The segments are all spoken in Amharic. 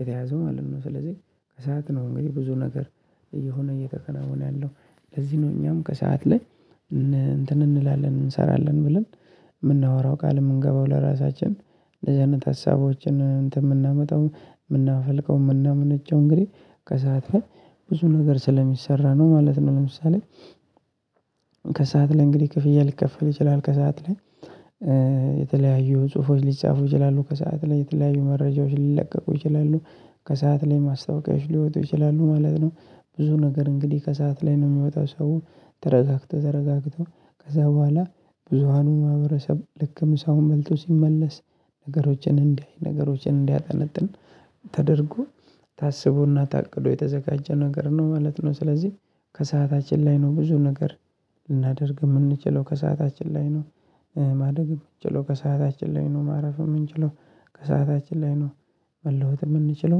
የተያዘው ማለት ነው። ስለዚህ ከሰአት ነው እንግዲህ ብዙ ነገር እየሆነ እየተከናወነ ያለው ለዚህ ነው እኛም ከሰአት ላይ። እንትን እንላለን እንሰራለን ብለን የምናወራው ቃል የምንገባው ለራሳችን ለዚህነት ሀሳቦችን እንትን የምናመጣው የምናፈልቀው የምናመነጨው እንግዲህ ከሰአት ብዙ ነገር ስለሚሰራ ነው ማለት ነው። ለምሳሌ ከሰአት ላይ እንግዲህ ክፍያ ሊከፈል ይችላል ከሰአት ላይ። የተለያዩ ጽሁፎች ሊጻፉ ይችላሉ ከሰአት ላይ የተለያዩ መረጃዎች ሊለቀቁ ይችላሉ ከሰአት ላይ ማስታወቂያዎች ሊወጡ ይችላሉ ማለት ነው። ብዙ ነገር እንግዲህ ከሰአት ላይ ነው የሚወጣው ሰው ተረጋግቶ ተረጋግቶ ከዛ በኋላ ብዙሃኑ ማህበረሰብ ልክ ምሳውን በልቶ ሲመለስ ነገሮችን እንዲያይ ነገሮችን እንዲያጠነጥን ተደርጎ ታስቦና ታቅዶ የተዘጋጀ ነገር ነው ማለት ነው። ስለዚህ ከሰአታችን ላይ ነው ብዙ ነገር ልናደርግ የምንችለው ከሰአታችን ላይ ነው። ማደግ የምንችለው ከሰአታችን ላይ ነው ማረፍ የምንችለው ከሰአታችን ላይ ነው። መለወጥ የምንችለው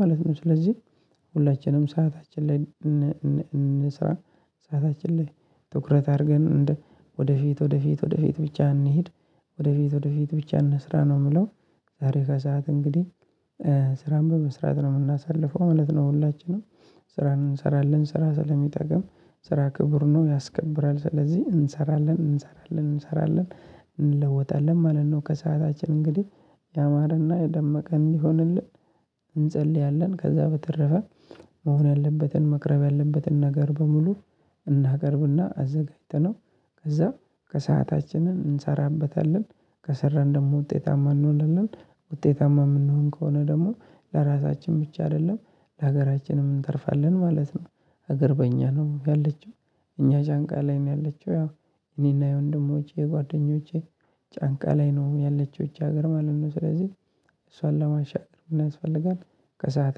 ማለት ነው። ስለዚህ ሁላችንም ሰዓታችን ላይ እንስራ ሰዓታችን ላይ ትኩረት አድርገን እንደ ወደፊት ወደፊት ወደፊት ብቻ እንሂድ። ወደፊት ወደፊት ብቻ እንስራ ነው የምለው። ዛሬ ከሰአት እንግዲህ ስራን በመስራት ነው የምናሳልፈው ማለት ነው። ሁላችንም ስራን እንሰራለን ስራ ስለሚጠግም ስራ ክቡር ነው ያስከብራል ስለዚህ እንሰራለን እንሰራለን እንሰራለን እንለወጣለን ማለት ነው። ከሰአታችን እንግዲህ ያማረና የደመቀ እንዲሆንልን እንጸልያለን። ከዛ በተረፈ መሆን ያለበትን መቅረብ ያለበትን ነገር በሙሉ እናቀርብና አዘጋጅተነው ከዛ ከሰአታችንን እንሰራበታለን። ከሰራን ደግሞ ውጤታማ እንሆንለን ውጤታማ የምንሆን ከሆነ ደግሞ ለራሳችን ብቻ አይደለም ለሀገራችንም እንተርፋለን ማለት ነው። ሀገር በእኛ ነው ያለችው እኛ ጫንቃ ላይ ነው ያለችው ያው። እኔና የወንድሞቼ የጓደኞቼ ጫንቃ ላይ ነው ያለችው እጅ ሀገር ማለት ነው። ስለዚህ እሷን ለማሻገር ምን ያስፈልጋል? ከሰአት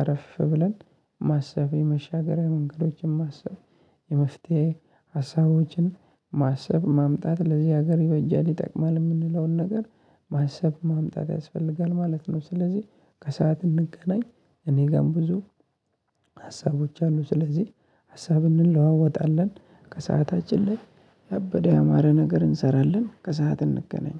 አረፍ ብለን ማሰቤ የመሻገሪያ መንገዶችን ማሰብ የመፍትሄ ሀሳቦችን ማሰብ ማምጣት ለዚህ ሀገር ይበጃል ይጠቅማል የምንለውን ነገር ማሰብ ማምጣት ያስፈልጋል ማለት ነው። ስለዚህ ከሰአት እንገናኝ። እኔ ጋርም ብዙ ሀሳቦች አሉ። ስለዚህ ሀሳብ እንለዋወጣለን ከሰአታችን ላይ ያበደ ያማረ ነገር እንሰራለን። ከሰአት እንገናኝ።